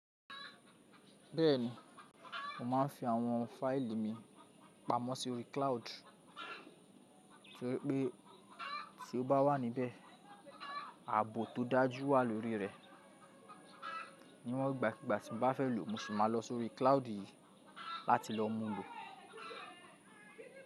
Bẹ́ẹ̀ni, mo máa ń fi àwọn fáìlì mi pamọ́ sórí cloud, torí pé tí ó bá wà níbẹ̀, ààbò tó dájú wà lórí rẹ̀. Níwọn gbàkigbà tí mo bá fẹ́ lòò, mo sì máa lọ sórí cloud yìí láti lọ mú lò.